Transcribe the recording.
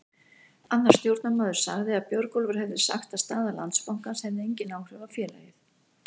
Annar stjórnarmaður sagði að Björgólfur hafi sagt að staða Landsbankans hefði engin áhrif á félagið.